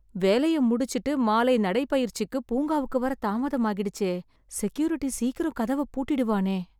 வேலைய முடிச்சுட்டு, மாலை நடைப்பயிற்சிக்கு பூங்காவுக்கு வர தாமதமாகிடுச்சே... செக்யூரிட்டி சீக்கிரம் கதவ பூட்டிடுவானே...